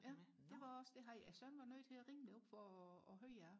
ja det var også det deres søn var nødt til og ringe derop for at høre ad